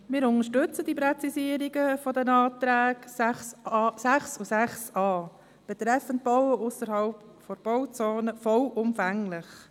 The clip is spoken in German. Wir unterstützen die Präzisierung der Anträge 6 und 6a betreffend Bauen ausserhalb der Bauzone vollumfänglich.